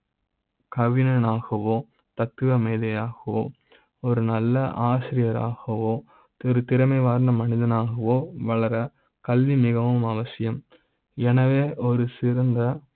கவிஞனாகவோ தத்துவ மேதையாகவோ ஒரு நல்ல ஆசிரியராக வோ ஒரு திறமை வாய்ந்த மனிதனாக வோ வளர கல்வி மிக வும் அவசியம் என வே ஒரு சிறந்த.